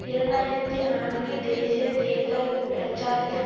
இரண்டு ஆயிரத்தி நான்கு தேசிய தேர்தல் பிரச்சாரத்தின்